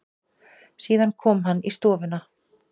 Síðan kom hann í stofuna.